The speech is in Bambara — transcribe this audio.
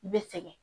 I bɛ sɛgɛn